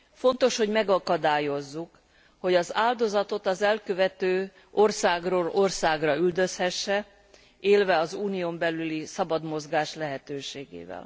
Fontos, hogy megakadályozzuk, hogy az áldozatot az elkövető országról országra üldözhesse, élve az unión belüli szabad mozgás lehetőségével.